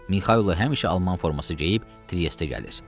Mixaylo həmişə alman forması geyib Triestə gəlir.